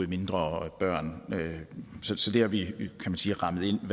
mindre børn så det har vi rammet ind